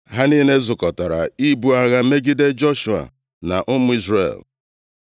ha niile zukọtara ibu agha megide Joshua na ụmụ Izrel.